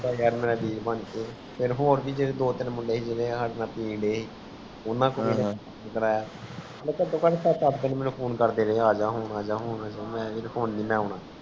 ਹੋਰ ਭੀ ਮੁੰਡੇ ਜੇ ਦੋ ਤੀਨ ਮੁੰਡੇ ਸੀ ਜੇੜ੍ਹੇ ਸਾਡੇ ਨਾਲ ਪੀ ਡੇ ਸੀ ਉਨ੍ਹਾਂ ਕਾਟੋ ਕਾਟ ਮਨੀ ਤੀਨ ਸੱਤ ਆਠ ਬਾਰ phone ਅਜ ਹੁਣ ਅਜ ਹੁਣ